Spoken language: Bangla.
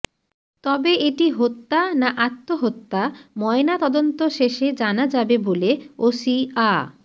তবে এটি হত্যা না আত্মহত্যা ময়নাতদন্ত শেষে জানা যাবে বলে ওসি আ